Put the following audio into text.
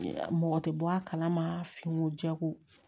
Mɔgɔ tɛ bɔ a kalama finiko jɛko